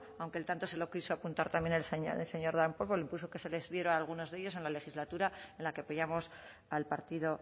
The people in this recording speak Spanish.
aunque el tanto se lo quiso apuntar también el señor darpón por el impulso que se les diera a algunos de ellos en la legislatura en la que pillamos al partido